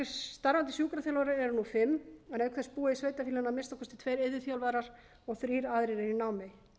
starfandi sjúkraþjálfarar eru nú fimm en auk þess búa í sveitarfélaginu að minnsta kosti tveir iðjuþjálfar og þrír aðrir eru í námi